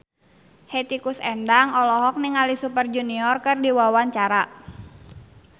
Hetty Koes Endang olohok ningali Super Junior keur diwawancara